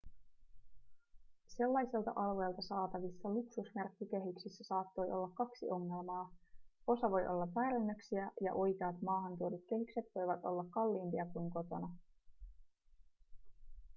sellaisilta alueilta saatavissa luksusmerkkikehyksissä saattaa olla kaksi ongelmaa osa voi olla väärennöksiä ja oikeat maahantuodut kehykset voivat olla kalliimpia kuin kotona